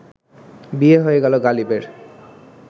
বিয়ে হয়ে গেল গালিবের